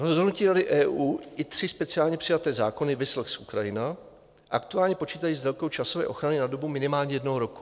Rozhodnutí Rady EU i tři speciálně přijaté zákony, viz lex Ukrajina, aktuálně počítají s délkou časové ochrany na dobu minimálně jednoho roku.